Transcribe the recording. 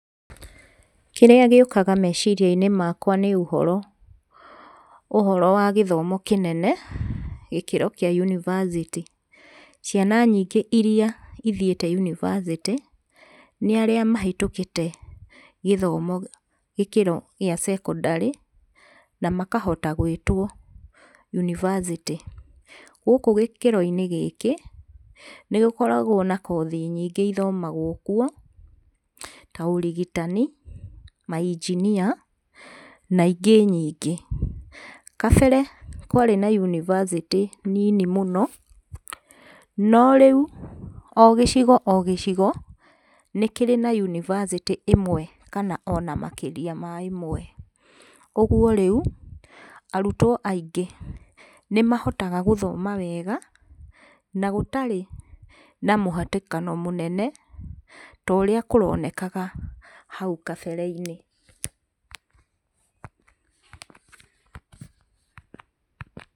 Kĩrĩa gĩũkaga meciria -inĩ makwa nĩ ũhoro wa gĩthomo kĩnene gĩkĩro kĩa yunibacĩtĩ. Ciana nyingĩ irĩa ithiĩte yunibacĩtĩ nĩ arĩa mahĩtũkĩte gĩthomo gũkĩra gĩa secondary na makahota gwĩtwo yunibacĩtĩ. Gũkũ gĩkĩro-inĩ gĩkĩ nĩ gĩkoragwo na kothi nyingĩ ithomagwo kuo ta ũrigitani ma engineer na ingĩ nyingĩ. Kabere kwarĩ na yunibacĩtĩ nini mũno no rĩu o gĩcigo o gĩcigo nĩ kĩrĩ na yunibacĩtĩ ĩmwe ona makĩria ma ĩmwe ũguo rĩu arutwo aingĩ nĩ mahotaga gũthoma wega na gũtarĩ na mũhatĩkano mũnene ta ũrĩa kĩronekana hau kabere-inĩ.